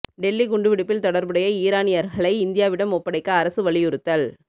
டெல்லி குண்டுவெடிப்பில் தொடர்புடைய ஈரானியர்களை இந்தியாவிடம் ஒப்படைக்க அரசு வலியுறுத்தல்